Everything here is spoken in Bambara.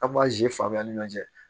An b'a ji fan bɛɛ lajɛ